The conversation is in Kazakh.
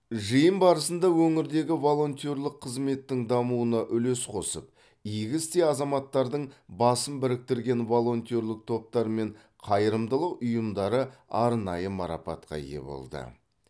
жиын барысында өңірдегі волонтерлік қызметтің дамуына үлес қосып игі істе азаматардың басын біріктірген волонтерлік топтар мен қайырымдылық ұйымдары арнайы марапатқа ие болды